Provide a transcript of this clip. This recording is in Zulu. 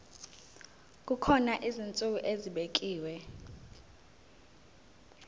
kukhona izinsuku ezibekiwe